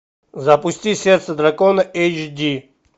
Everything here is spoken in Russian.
запусти сердце дракона эйч ди